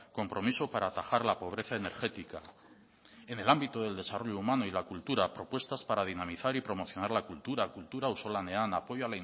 compromiso para atajar la pobreza energética en el ámbito del desarrollo humano y la cultura propuestas para dinamizar y promocionar la cultura kultura auzolanean apoyo